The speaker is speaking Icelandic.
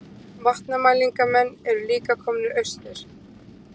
Vatnamælingamenn eru líka komnir austur